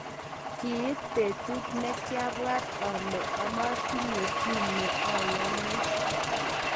kiit betut nekiayan ole motinye kiyneoyoni.